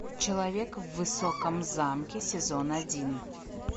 человек в высоком замке сезон один